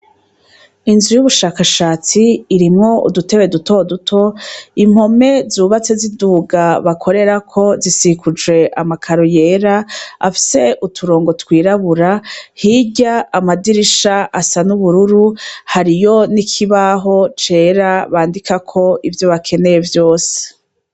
Inzu y'ubushakashatsi irimwo udutewe duto duto, impome zubatse z'iduga bakorerako zisikuje amakaro yera afise uturongo twirabura, hirya amadirisha asa n'ubururu, hariyo nikibaho cera bandika ko ivyo bakeneye vyose.